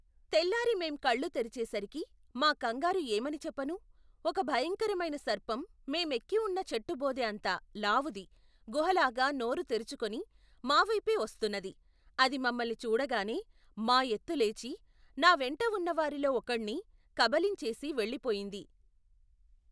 తెల్లారి మేం కళ్ళు తెరిచేసరికి మా కంగారు ఏమని చెప్పను ఒక భయంకరమైన సర్పం మేమెక్కిఉన్న చెట్టుబోదె అంత లావుది గుహలాగా నోరు తెరుచుకుని మా వైపే వస్తున్నది అది మమ్మల్ని చూడగానే మా ఎత్తు లేచి నా వెంట ఉన్నవారిలో ఒకణ్ణి కబళించేసి వెళ్లిపోయింది.